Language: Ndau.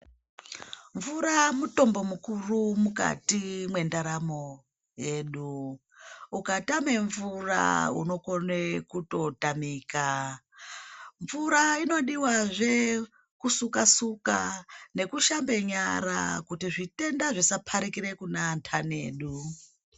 Mvura mutombo mukuru mukati mwendaramo yedu ukatama mvura unogona kutotamika mvura inodiwa zve kusuka suka nekushambe nyara kuti zvitenda zvisaparikira kuvandani edu.